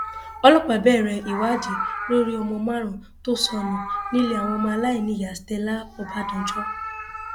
ọlọpàá bẹrẹ ìwádìí lórí ọmọ márùnún tó sọnù nílé àwọn aláìníyàá stella ọbadànjọ